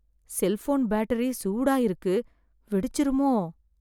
Cellphone battery சூடா இருக்கு, வெடிச்சிருமோ?